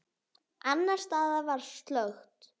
Annars staðar var slökkt.